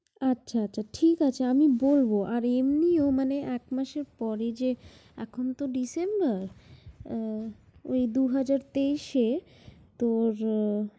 আচ্ছা, আচ্ছা, আচ্ছা ঠিক আছে আমি বলবো। আর এমনিও মানে একমাসের পরে যে এখন তো December । আহ দুই হাজার তেইশে তোর